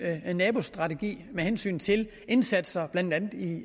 nabostrategi med hensyn til indsatser blandt andet i